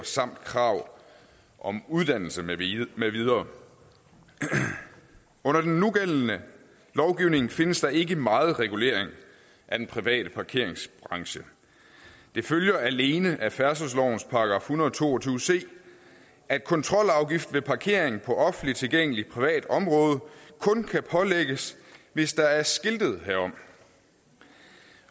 samt krav om uddannelse med videre med videre under den nugældende lovgivning findes der ikke meget regulering af den private parkeringsbranche det følger alene af færdselslovens § en hundrede og to og tyve c at kontrolafgift ved parkering på offentligt tilgængeligt privat område kun kan pålægges hvis der er skiltet herom